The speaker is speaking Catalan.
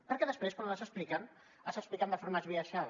perquè després quan els expliquen els expliquen de forma esbiaixada